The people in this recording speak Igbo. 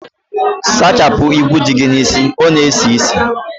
Sachapụ igwu dị gị n'isi, ọ na esi isi